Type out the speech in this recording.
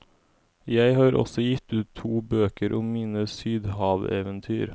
Jeg har også gitt ut to bøker om mine sydhaveventyr.